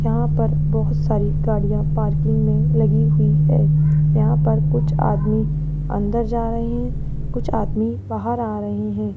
यहाँ पर बहोत सारी गाड़ियां पार्किंग में लगी हुई हैं यहाँ पर कुछ आदमी अंदर जा रहे है कुछ आदमी बाहर आ रहे हैं।